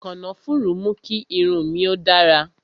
Kànáfùrú mú kí irun mi ó dára